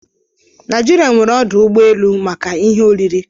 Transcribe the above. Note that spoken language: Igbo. Naijirịa nwere ọdụ ụgbọ elu maka ihe oriri